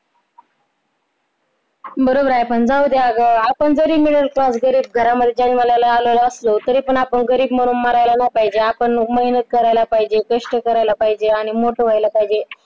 बरोबर आहे पण जाऊदे अगं आपण जरी middle class घरामध्ये जन्माला आलेलो असलो तरी पण आपण गरीब म्हणून मारायला नाही पाहिजे आपण मग मेहनत करायला पाहिजे, कष्ट करायला पाहिजे आणि मोठं व्हायला पाहिजे